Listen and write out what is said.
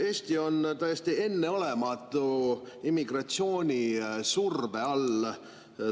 Eesti on täiesti enneolematu immigratsioonisurve all.